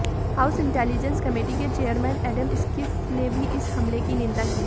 house intelligence committee के chairman Adam Schiff ने भी इस हमले की निंदा की है